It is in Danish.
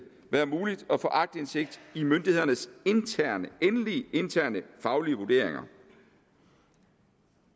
være muligt at få aktindsigt i myndighedernes endelige interne faglige vurderinger